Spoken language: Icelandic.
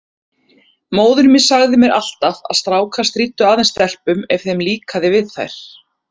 Móðir mín sagði mér alltaf að strákar stríddu aðeins stelpum ef þeim líkaði við þær.